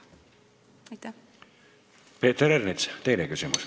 Peeter Ernits, teine küsimus.